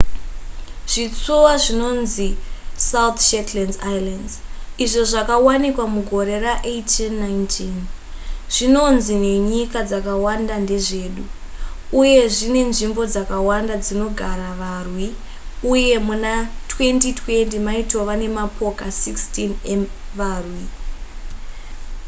zvitsuwa zvinonzi south shetland islands izvo zvakawanikwa mugore ra1819 zvinonzi nenyika dzakawanda ndezvedu uye zvine nzvimbo dzakawanda dzinogara varwi uye muna 2020 maitova nemapoka 16 evarwi